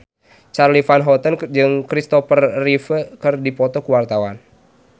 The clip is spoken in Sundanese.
Charly Van Houten jeung Kristopher Reeve keur dipoto ku wartawan